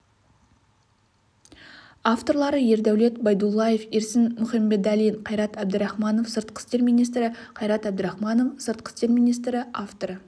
авторлары ердәулет байдуллаев ерсін мұхембеталин қайрат әбдірахманов сыртқы істер министрі қайрат әбдірахманов сыртқы істер министрі авторы